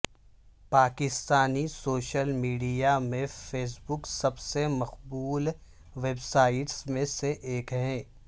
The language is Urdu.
پاکستانی سوشل میڈیا میں فیس بک سب سے مقبول ویب سائٹس میں سے ایک ہے